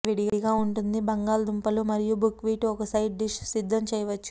ఈ విడిగా ఉంటుంది బంగాళాదుంపలు మరియు బుక్వీట్ ఒక సైడ్ డిష్ సిద్ధం చేయవచ్చు